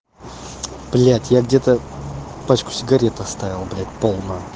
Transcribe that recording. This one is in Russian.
блядь я где-то пачку сигарет оставил блядь полную